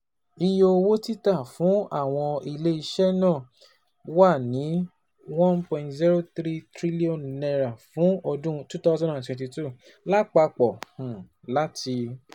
Iye owo tita fun awọn ile-iṣẹ naa wa ni N one point zero three eight trillion fun ọdun twenty twenty two lapapọ um lati